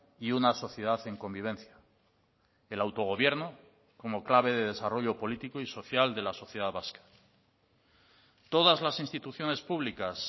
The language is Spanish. y una sociedad en convivencia el autogobierno como clave de desarrollo político y social de la sociedad vasca todas las instituciones públicas